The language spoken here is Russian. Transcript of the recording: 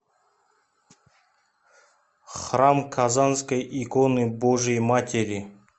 храм казанской иконы божией матери